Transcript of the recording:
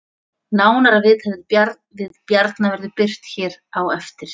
Nánara viðtal við Bjarna verður birt hér á eftir